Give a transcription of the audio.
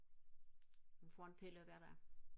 hun får en pille hver dag